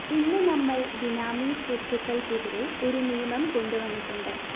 ഇന്ന് നമ്മള്‍ ബിനാമി സ്വത്തുകള്‍ക്കെതിരെ ഒരു നിയമം കൊണ്ടുവന്നിട്ടുണ്ട്